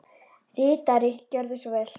Ritari Gjörðu svo vel.